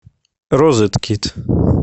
розеткид